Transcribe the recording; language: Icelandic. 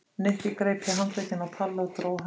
Nikki greip í handlegginn á Palla og dró hann af stað.